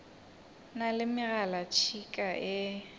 na le megalatšhika ye e